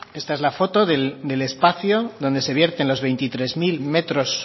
esta es la foto del espacio donde se vierte los veintitrés mil metros